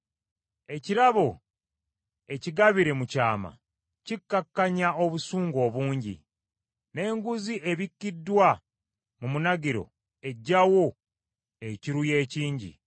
Ekirabo ekigabire mu kyama kikakkanya obusungu obungi, n’enguzi ebikiddwa mu munagiro eggyawo ekiruyi ekingi.